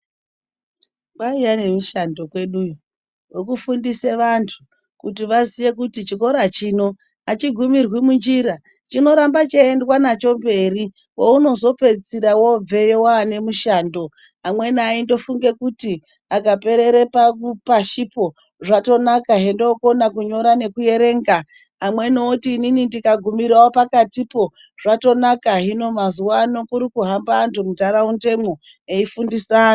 Kwaiva nemishando kweduyo yekufundisa vantu kuti chikora chino achigumirwi munjira chinoramba cheiendwa nacho mberi kweunozopedzisira wakubveyo nemishando amweni aingofunga kuti akaperera pashipo zvatonaka hetokoka kunyora nekuerenga amweni oti inini ndikagumirawo pakatipo zvatonaka hino mazuva ano kuri kuhamba antu muntaraundamo eifundisa vantu.